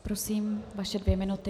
Prosím, vaše dvě minuty.